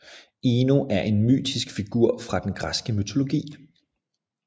Ino er en mytisk figur fra den græske mytologi